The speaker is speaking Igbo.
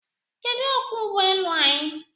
Kedụ okwọọ ụgbọ elu anyị?